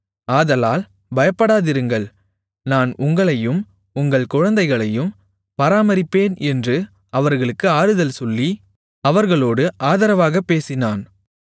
ஆதலால் பயப்படாதிருங்கள் நான் உங்களையும் உங்கள் குழந்தைகளையும் பராமரிப்பேன் என்று அவர்களுக்கு ஆறுதல் சொல்லி அவர்களோடு ஆதரவாகப் பேசினான்